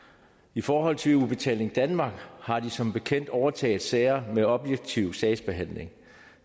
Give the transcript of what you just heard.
i forhold til udbetaling danmark har de som bekendt overtaget sager med objektiv sagsbehandling